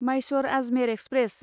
Mysore Ajmer express